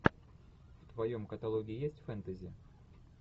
в твоем каталоге есть фэнтези